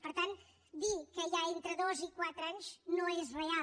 per tant dir que hi ha entre dos i quatre anys no és real